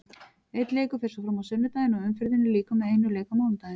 Einn leikur fer svo fram á sunnudaginn og umferðinni lýkur með einum leik á mánudaginn.